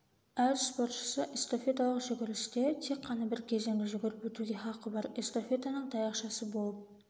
әр спортшысы эстафеталық жүгірісте тек қана бір кезеңді жүгіріп өтуге хақы бар эстафетаның таяқшасы болып